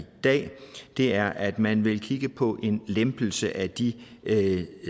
dag er at man vil kigge på en lempelse af de